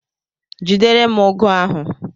Jidere m ugo ahu!